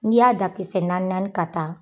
N'i y'a dan kisɛ naani naani ka taa,